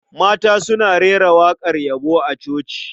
Mata suna rera waƙar yabo a coci.